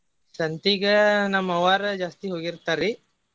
ಸಂತಿಗ ನಮ್ ಅವ್ವಾರ ಜಾಸ್ತಿ ಹೋಗಿರ್ತಾರಿ.